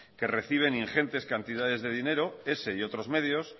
que reciben ingentes cantidades de dinero ese y otros medios